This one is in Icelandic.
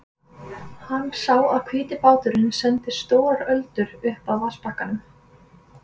Hann sá að hvíti báturinn sendi stórar öldur upp að vatnsbakkanum.